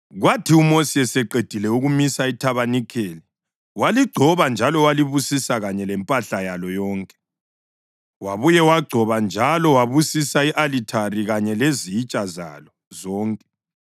Kwathi uMosi eseqedile ukumisa ithabanikeli, waligcoba njalo walibusisa kanye lempahla yalo yonke. Wabuye wagcoba njalo wabusisa i-alithari kanye lezitsha zalo zonke.